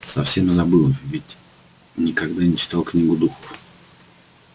совсем забыл ведь никогда не читали книгу духов